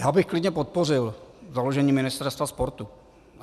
Já bych klidně podpořil založení Ministerstva sportu.